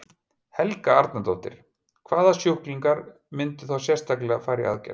Helga Arnardóttir: Hvaða sjúklingar myndu þá sérstaklega fara í aðgerð?